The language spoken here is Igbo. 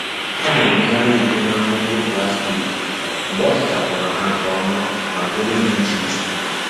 Ọ na-emegharị iko na ngwo ngwo plastik mgbe ọ sachapụrụ ha nke ọma ma dowe ha iche iche.